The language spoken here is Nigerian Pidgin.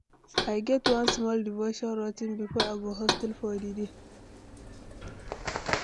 I get one small devotion routine before I go hustle for di day.